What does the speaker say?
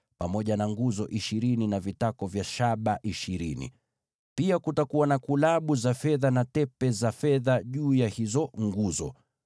pamoja na nguzo ishirini na vitako vya shaba ishirini, na kulabu na tepe za fedha juu ya hizo nguzo.